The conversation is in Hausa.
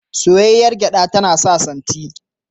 Soyayyar gyaɗa tana sa santi.